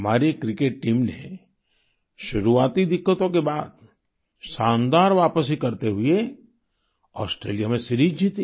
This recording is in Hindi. हमारी क्रिकेट टीम ने शुरुआती दिक्कतों के बाद शानदार वापसी करते हुए ऑस्ट्रेलिया में सीरीज जीती